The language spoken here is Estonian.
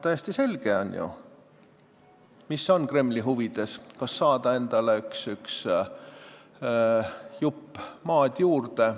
Täiesti selge on ju, mis on Kremli huvides – saada endale üks jupp maad juurde.